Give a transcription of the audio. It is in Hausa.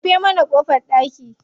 Rufe mana ƙofar ɗaki.